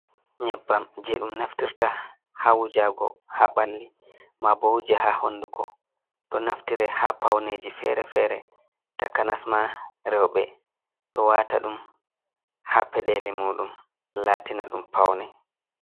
Nyebbam jey ɗum naftirta haa wujaago haa ɓalli maa boo wuje haa hunnduko, ɗo naftire haa pawneeji feere-feere takanas maa rewɓe ɗo waata ɗum haa peɗeeli muuɗum laatina ɗum pawne.